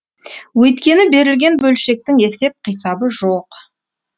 өйткені берілген бөлшектің есеп қисабы жоқ